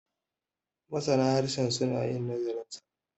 masana harshen suna yin nazarinsa